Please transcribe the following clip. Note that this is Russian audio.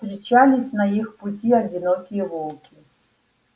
встречались на их пути и одинокие волки